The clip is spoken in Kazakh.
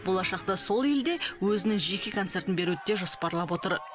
болашақта сол елде өзінің жеке концертін беруді де жоспарлап отыр